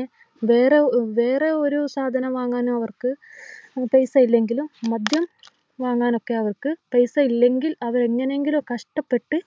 ഏർ വേറെ വേറെയൊരു സാധനം വാങ്ങാനോ അവർക്ക് പൈസയില്ലെങ്കിലും മദ്യം വാങ്ങാനൊക്കെ അവർക്ക് പൈസയില്ലെങ്കിൽ അവർ എങ്ങനെയെങ്കിലും കഷ്ടപ്പെട്ട്